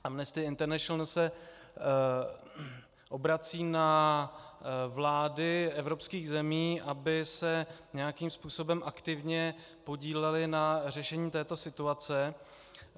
Amnesty International se obrací na vlády evropských zemí, aby se nějakým způsobem aktivně podílely na řešení této situace.